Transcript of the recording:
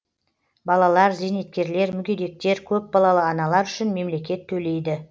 балалар зейнеткерлер мүгедектер көпбалалы аналар үшін мемлекет төлейді